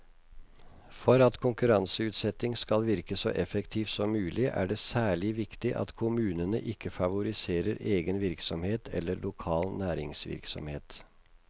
For at konkurranseutsetting skal virke så effektivt som mulig er det særlig viktig at kommunene ikke favoriserer egen virksomhet eller lokal næringsvirksomhet.